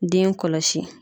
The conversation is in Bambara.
Den kɔlɔsi.